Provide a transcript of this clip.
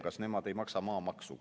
Kas nemad ei maksa maamaksu?